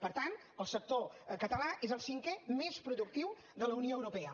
per tant el sector català és el cinquè més productiu de la unió europea